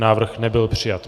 Návrh nebyl přijat.